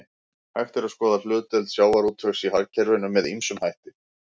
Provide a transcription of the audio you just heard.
Hægt er að skoða hlutdeild sjávarútvegs í hagkerfinu með ýmsum hætti.